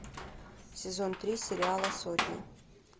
сезон три сериала сотня